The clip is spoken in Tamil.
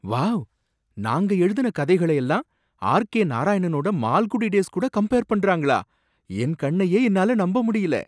வாவ்! நாங்க எழுதுன கதைகள எல்லாம் ஆர் கே நாராயணனோட மால்குடி டேஸ் கூட கம்பேர் பண்றாங்களா, என் கண்ணையே என்னால நம்ப முடியல!